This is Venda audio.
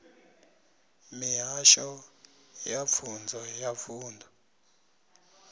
mihasho ya pfunzo ya vunḓu